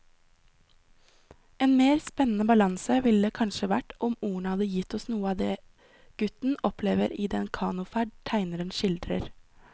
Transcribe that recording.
En mer spennende balanse ville det kanskje vært om ordene hadde gitt oss noe av det gutten opplever i den kanoferd tegneren skildrer.